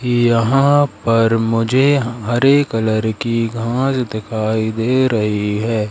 यहां पर मुझे हरे कलर की घास दिखाई दे रही है।